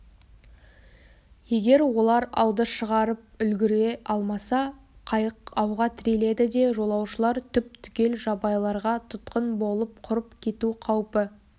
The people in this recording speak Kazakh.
егер олар ауды шығарып үлгіре алмаса қайық ауға тіреледі де жолаушылар түп-түгел жабайыларға тұтқын болып құрып кету қаупі